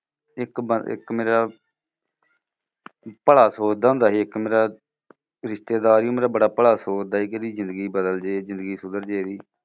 ਇੱਕ ਬ ਇੱਕ ਮੇਰਾ ਭਲਾ ਸੋਚਦਾ ਹੁੰਦਾ ਸੀ ਇੱਕ ਮੇਰਾ ਰਿਸ਼ਤੇਦਾਰ ਵੀ ਮੇਰਾ ਬੜਾ ਭਲਾ ਸੋਚਦਾ ਸੀ ਕਿ ਇਹਦੀ ਜ਼ਿੰਦਗੀ ਬਦਲ ਜੇ ਜ਼ਿੰਦਗੀ ਸੁਧਰ ਜੇ ਇਹਦੀ।